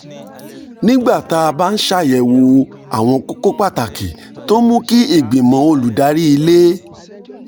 nígbà tá a bá ń ṣàyẹ̀wò àwọn kókó pàtàkì tó ń mú kí ìgbìmọ̀ olùdarí ilé